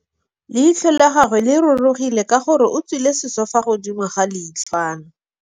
Leitlhô la gagwe le rurugile ka gore o tswile sisô fa godimo ga leitlhwana.